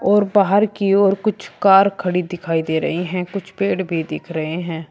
और बाहर की ओर कुछ कार खड़ी दिखाई दे रही है कुछ पेड़ भी दिख रहे हैं।